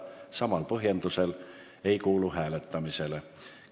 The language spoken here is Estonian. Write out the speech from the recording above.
Hääletamisele see eeltoodud alusel ei kuulu.